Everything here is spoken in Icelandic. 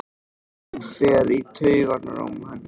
Hann fer í taugarnar á henni.